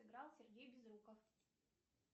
играл сергей безруков